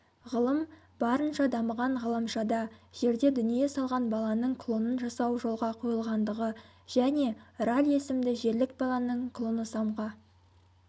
ғылым барынша дамыған ғаламшада жерде дүние салған баланың клонын жасау жолға қойылғандығы және раль есімді жерлік баланың клоносамға